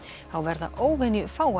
þá verða